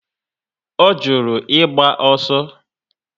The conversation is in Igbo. O juru ịgba ọsọ